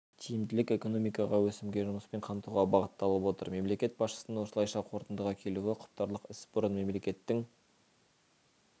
тиімділік экономикаға өсімге жұмыспен қамтуға бағытталып отыр мемлекет басшысының осылайша қорытындыға келуі құптарлық іс бұрын мемлекеттің